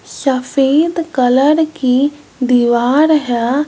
सफेद कलर की दीवार है।